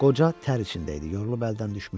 Qoca tər içində idi, yorulub əldən düşmüşdü.